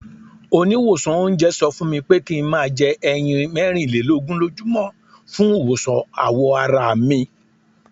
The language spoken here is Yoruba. Oníwòsàn oúnjẹ sọ fúnmi pé kí n máa jẹ ẹyin mẹ́rin lé lógún lójú mọ́ fún ìwòsàn àwọ̀ arami.